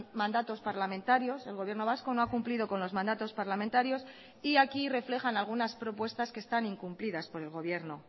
mandatos parlamentarios el gobierno vasco no ha cumplido con los mandatos parlamentarios y aquí reflejan algunas propuestas que están incumplidas por el gobierno